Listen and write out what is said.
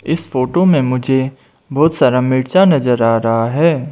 इस फोटो में मुझे बहुत सारा मिर्चा नजर आ रहा है।